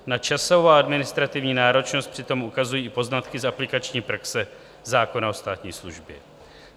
Na časovou a administrativní náročnost přitom ukazují i poznatky z aplikační praxe zákona o státní službě.